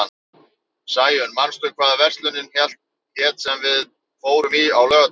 Sæunn, manstu hvað verslunin hét sem við fórum í á laugardaginn?